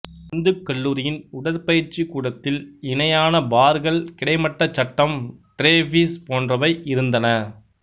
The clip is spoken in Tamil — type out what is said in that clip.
இந்துக் கல்லூரியின் உடற்பயிற்சி கூடத்தில் இணையான பார்கள் கிடைமட்டச் சட்டம் ட்ரேபீஸ் போன்றவை இருந்தன